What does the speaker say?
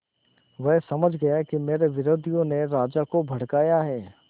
वह समझ गया कि मेरे विरोधियों ने राजा को भड़काया है